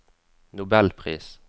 nobelpris